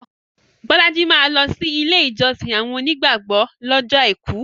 Bolaji maa lọsi ilé ìjọsìn àwọn onígbàgbọ̀ lọ́jọ́ Àìkú